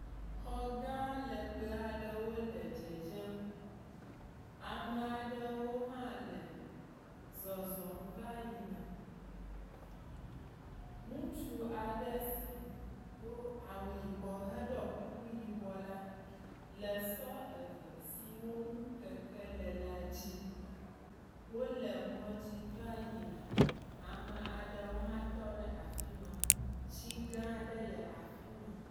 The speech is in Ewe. Xɔ gãa lɛgbɛ aɖewo le dzedzem. Ame aɖewo hã le zɔzɔm va yina. Ŋutsu aɖe si do awu yibɔ heɖɔ kuku yibɔ la le sɔ eve siwo ŋu keke le la dzi, wole mɔdzi va yina. Ame aɖewo hã tɔ ɖe afi ma. Tsi gãa aɖe le afi ma.